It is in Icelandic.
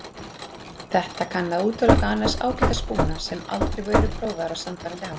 Þetta kann að útiloka annars ágæta spúna sem aldrei eru prófaðir á sannfærandi hátt.